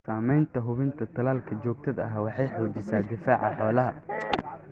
Samaynta hubinta tallaalka joogtada ah waxay xoojisaa difaaca xoolaha.